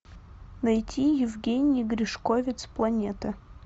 найти евгений гришковец планета